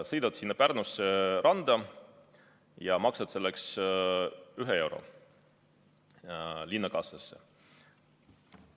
Sõidad Pärnusse randa ja maksad ühe euro linna kassasse.